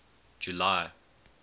july